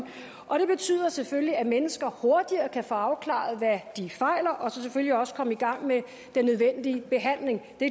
og det betyder selvfølgelig at mennesker hurtigere kan få afklaret hvad de fejler og selvfølgelig også komme i gang med den nødvendige behandling det